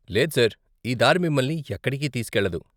లేదు సార్, ఈ దారి మిమల్ని ఎక్కడికీ తీసుకెళ్లదు.